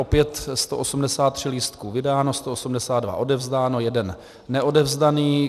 Opět 183 lístků vydáno, 182 odevzdáno, jeden neodevzdaný.